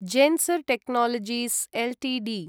Zensar Technologies Ltd